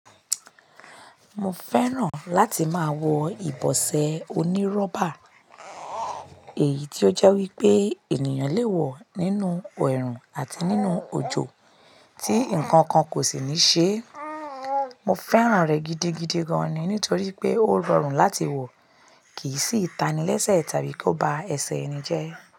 Mo fẹ́ràn láti máa wọ ìbọ́sẹ̀ onírọ́bà, èyí tí ó jẹ́ wípé ẹniyàn lè wọ nínú ẹrun àti òjò, tí nǹkankan kò sí ní ṣe é. Mo fẹ́ràn rẹ gídígídí gan ni nítorí wípé o rọrùn láti wọ, kí n sì ta ni lẹ́sẹ̀ tàbí kí ó ba ẹsẹ̀ ẹni jẹ́.